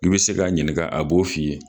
I bi se k'a ɲininka a b'o f'i ye